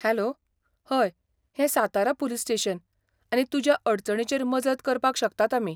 Hello, हय हें Satara police station आनी तुज्या अडचणीचेर मजत करपाक शकतात आमी.